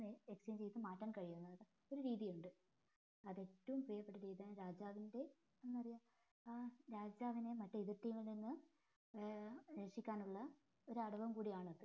exchange ചെയ്ത് മാറ്റാൻ കയ്യുന്ന ഒരു രീതിയുണ്ട് അത് ഏറ്റവും പ്രിയപ്പെട്ട രീതിയാണ് രാജാവിന്റെ എന്താ പറയാ ഏർ രാജാവിനെ മറ്റേ എതിർ team ൽ നിന്ന് ഏർ എസിക്കാനുള്ള ഒരു അടവുംകൂടിയാണിത്